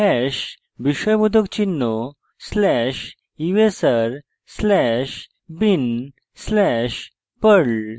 hash বিস্ময়বোধক চিহ্ন slash usr slash bin slash perl এবং